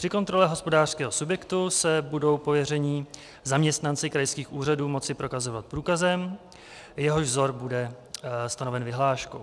Při kontrole hospodářského subjektu se budou pověření zaměstnanci krajských úřadů moci prokazovat průkazem, jehož vzor bude stanoven vyhláškou.